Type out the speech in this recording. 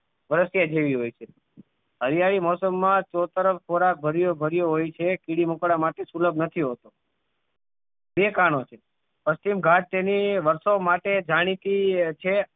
પલખે જીવી હોય છે હરિયાળી મોસમ માં ચો તરફ ખોરાક ભર્યો ભર્યો હોય છે કીડી મકોડા માટે સુલભ નથી હોતો તે કારણો થી પશ્ચિમ ઘાટ તેની વર્ષો માટે જાણીતી છે